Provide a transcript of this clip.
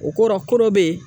O kɔrɔ ko dɔ be yen